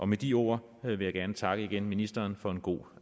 med de ord vil jeg gerne igen takke ministeren for en god